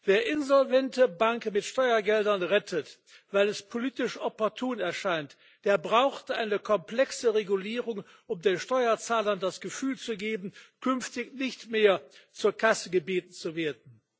Wer insolvente Banken mit Steuergeldern rettet, weil es politisch opportun erscheint, der braucht eine komplexe Regulierung, um den Steuerzahlern das Gefühl zu geben, künftig nicht mehr zur Kasse gebeten zu werden.